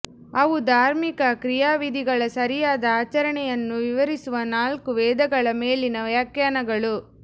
ಅವು ಧಾರ್ಮಿಕ ಕ್ರಿಯಾವಿಧಿಗಳ ಸರಿಯಾದ ಆಚರಣೆಯನ್ನು ವಿವರಿಸುವ ನಾಲ್ಕು ವೇದಗಳ ಮೇಲಿನ ವ್ಯಾಖ್ಯಾನಗಳು